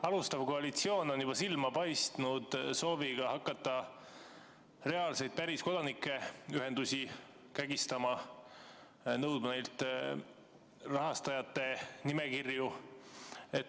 Alustav koalitsioon on juba silma paistnud sooviga hakata reaalseid, päris kodanikuühendusi kägistama, nõudma neilt rahastajate nimekirju.